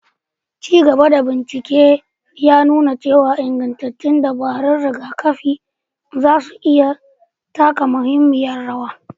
Ci gaba da bincike ya nuna cewa ingantattun dabarun rigakafin za su iya taka muhimmiyar rawa.